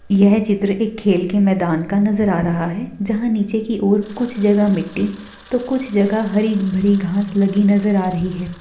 यह चित्र एक खेल के मैदान का नज़र आ है जहाँ नीचे की ओर कुछ जगह मिट्टी तो कुछ जगह हरी भरी घास लगी नजर आ रही हैं।